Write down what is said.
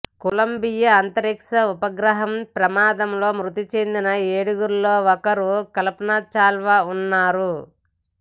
Colombia అంతరిక్ష ఉపగ్రహం ప్రమాదంలో మృతిచెందిన ఏడుగురిలో ఒకరుగా కల్పానా చావ్లా ఉన్నారు